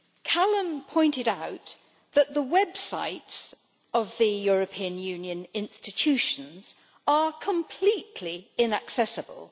Callum pointed out that the websites of the European Union institutions are completely inaccessible.